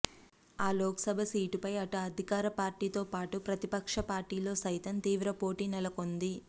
ఆ లోక్ సభ సీటునై అటు అదికార పార్టీ తో పాటు ప్రతిపక్ష పార్టీలో సైతం తీవ్ర పోటీ నెలకొంది